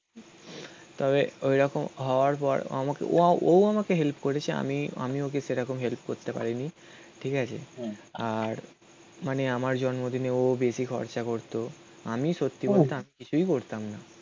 তবে ঐরকম হওয়ার পর আমাকে ও আমাকে হেল্প করেছে. আমি আমি ওকে সেরকম হেল্প করতে পারিনি. ঠিক আছে? আর মানে আমার জন্মদিনে ও বেশি খরচা করত. আমি সত্যি বলতে কিছুই করতাম না